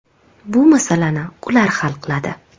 Bu masalani ular hal qiladi.